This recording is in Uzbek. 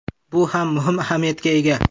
Bu ham muhim ahamiyatga ega.